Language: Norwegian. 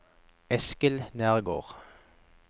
Eskil Nergård